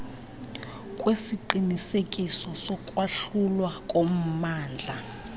kwesiqinisekiso sokwahlulwa kommandla